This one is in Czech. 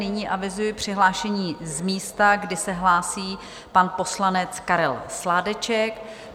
Nyní avizuji přihlášení z místa, kdy se hlásí pan poslanec Karel Sládeček.